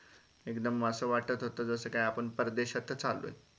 एकदम असं वाटत होतं जसं काय आपण परदेशातच आलो हे